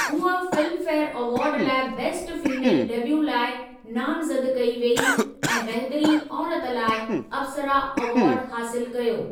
हूअ Filmfare award लाइ best female debut लाइ नामज़द कई वेई ऐं बहितरीनु औरत लाइ अप्सरा एवार्ड हासिलु कयो।